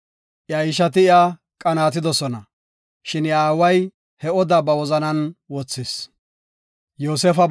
Iya ishati iya qanaatidosona, shin iya aaway he odaa ba wozanan wothis.